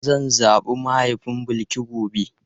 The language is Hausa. Zan zabi mahaifin Bilki gobe.